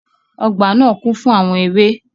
Ọgbà naa kún fún àwọn ewé.